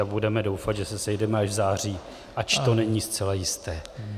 A budeme doufat, že se sejdeme až v září, ač to není zcela jisté.